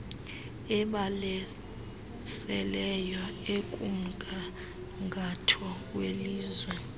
ebalaseleyo ekumgangatho welizwe